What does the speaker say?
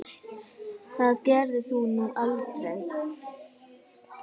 Það gerðir þú nú aldrei.